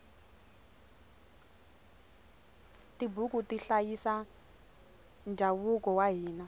tibuku ti hlayisa ndhavuko wa hina